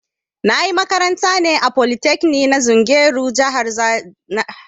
Na ƴi makaranta ne a polytekni na zungeru jihar Niger